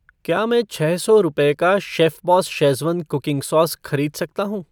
क्या मैं छः सौ रुपये का शेफ़बॉस शेज़वान कुकिंग सॉस खरीद सकता हूँ ?